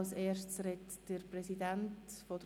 Als Erstes hat der Präsident der SiK das Wort.